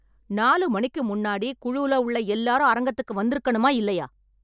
நாலு மணிக்கு முன்னாடி குழுல உள்ள எல்லாரும் அரங்கத்துக்கு வந்துருக்கணுமா இல்லையா?